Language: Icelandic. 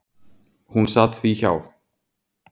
Hún sat því hjá.